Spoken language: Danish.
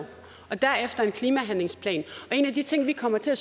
og derefter om en klimahandlingsplan og en af de ting vi kommer til at